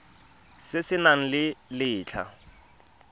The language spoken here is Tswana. se se nang le letlha